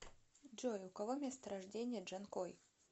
джой у кого место рождения джанкой